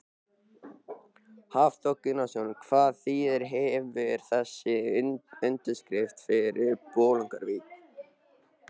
Hafþór Gunnarsson: Hvaða þýðingu hefur þessi undirskrift fyrir Bolungarvík?